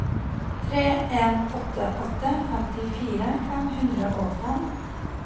tre en åtte åtte femtifire fem hundre og fem